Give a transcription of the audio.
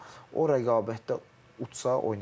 Amma o rəqabətdə utsa, oynayacaq.